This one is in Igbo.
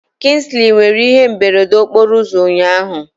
Kingsley nwere ihe mberede okporo ụzọ ụnyahụ.